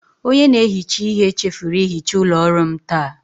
Onye na-ehicha ihe chefuru ihicha ụlọ ọrụ m taa.